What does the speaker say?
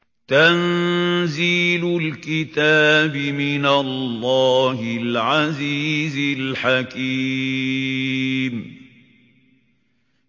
تَنزِيلُ الْكِتَابِ مِنَ اللَّهِ الْعَزِيزِ الْحَكِيمِ